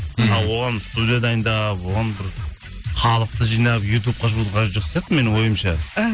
ал оған студия дайындап оған бір халықты жинап ютубқа қажеті жоқ сияқты менің ойымша іхі